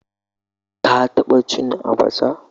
Ka taba cin abacha?